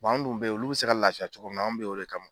an dun bɛ ye olu bɛ se ka laafiya cogo min na an bɛ ye o de kama.